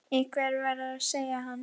Einhver verður að segja hann.